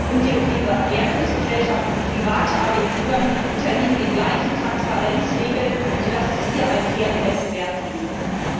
Und Verwertungsgesellschaften und private Agenturen unterliegen den gleichen Transparenzregeln, sodass es hier einen fairen Wettbewerb geben wird.